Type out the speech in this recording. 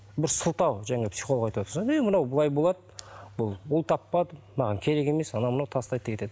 бір сылтау жаңағы психолог айтыватыр содан кейін мынау былай болады бұл ұл таппады маған керек емес анау мынау тастайды да кетеді